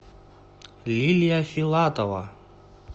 лилия филатова